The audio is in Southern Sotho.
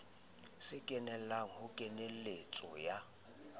se kenella ho kenyeletso ya